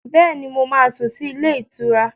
Bẹ́ẹ̀ni, mo máa sùn sí ilé-ìtura.